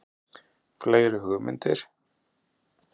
Fleiri hugmyndir?